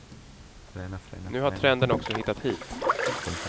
Nu har trenden också hittat hit.